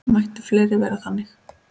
Mættu fleiri vera þannig.